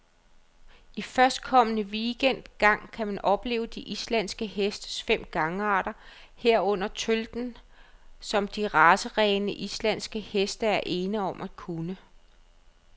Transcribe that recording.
I førstkommende weekend gang kan man opleve de islandske hestes fem gangarter, herunder tølten, som de racerene, islandske heste er ene om at kunne.